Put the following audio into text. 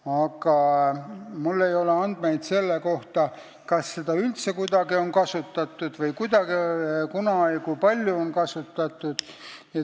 Aga mul ei ole andmeid selle kohta, kas seda on üldse kuidagi kasutatud ja kui on, siis kuna ja kui palju on seda kasutatud.